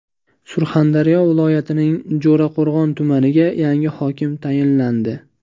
Surxondaryo viloyatining Jarqo‘rg‘on tumaniga yangi hokim tayinlandi.